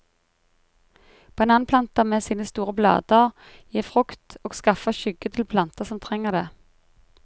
Bananplanter med sine store blader gir frukt og skaffer skygge til planter som trenger det.